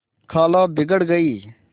खाला बिगड़ गयीं